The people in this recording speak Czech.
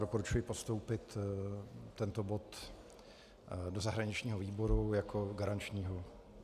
Doporučuji postoupit tento bod do zahraničního výboru jako garančního.